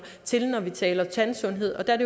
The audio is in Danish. til når vi taler tandsundhed og der er